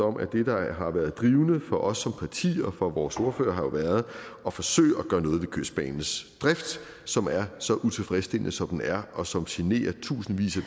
om at det der har været drivende for os som parti og for vores ordfører jo har været at forsøge at gøre noget ved kystbanens drift som er så utilfredsstillende som den er og som generer tusindvis af